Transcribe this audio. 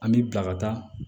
An bi bila ka taa